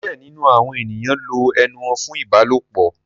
Some people use their mouths for sex